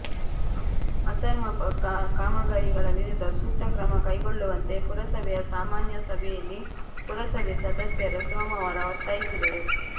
ಅಸಮರ್ಪಕ ಕಾಮಗಾರಿಗಳ ವಿರುದ್ಧ ಸೂಕ್ತ ಕ್ರಮ ಕೈಗೊಳ್ಳುವಂತೆ ಪುರಸಭೆಯ ಸಾಮಾನ್ಯ ಸಭೆಯಲ್ಲಿ ಪುರಸಭೆ ಸದಸ್ಯರು ಸೋಮವಾರ ಒತ್ತಾಯಿಸಿದರು